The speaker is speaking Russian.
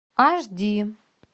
аш ди